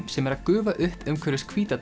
sem er að gufa upp umhverfis hvíta